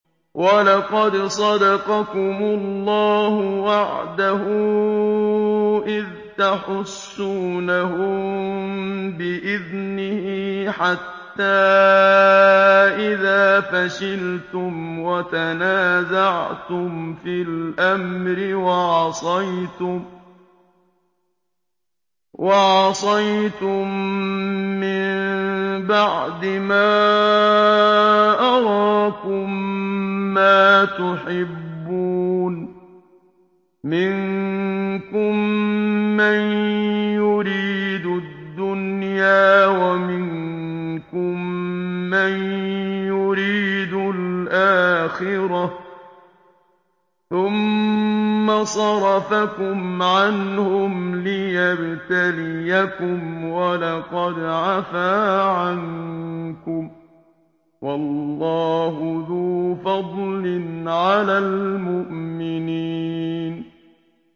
وَلَقَدْ صَدَقَكُمُ اللَّهُ وَعْدَهُ إِذْ تَحُسُّونَهُم بِإِذْنِهِ ۖ حَتَّىٰ إِذَا فَشِلْتُمْ وَتَنَازَعْتُمْ فِي الْأَمْرِ وَعَصَيْتُم مِّن بَعْدِ مَا أَرَاكُم مَّا تُحِبُّونَ ۚ مِنكُم مَّن يُرِيدُ الدُّنْيَا وَمِنكُم مَّن يُرِيدُ الْآخِرَةَ ۚ ثُمَّ صَرَفَكُمْ عَنْهُمْ لِيَبْتَلِيَكُمْ ۖ وَلَقَدْ عَفَا عَنكُمْ ۗ وَاللَّهُ ذُو فَضْلٍ عَلَى الْمُؤْمِنِينَ